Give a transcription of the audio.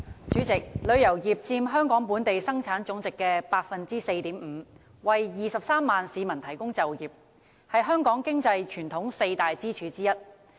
主席，旅遊業佔香港本地生產總值的 4.5%， 為23萬市民提供就業，是香港傳統的四大經濟支柱之一。